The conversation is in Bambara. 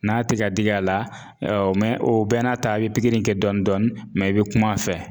N'a te ka digi a la ɛɛ mɛ o bɛɛ n'a ta e be pigiri in kɛ dɔɔnin dɔɔnin mɛ e be kuma a fɛ